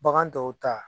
Bagan tɔw ta